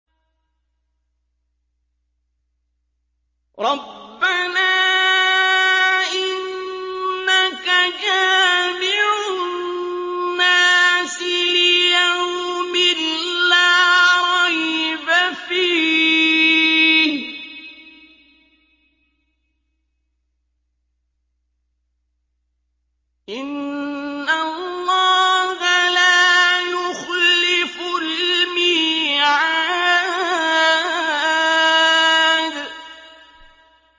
رَبَّنَا إِنَّكَ جَامِعُ النَّاسِ لِيَوْمٍ لَّا رَيْبَ فِيهِ ۚ إِنَّ اللَّهَ لَا يُخْلِفُ الْمِيعَادَ